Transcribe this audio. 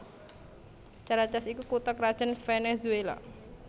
Caracas iku kutha krajan Venezuela